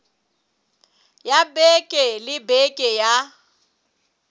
ya beke le beke ya